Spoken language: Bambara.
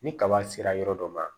Ni kaba sera yɔrɔ dɔ ma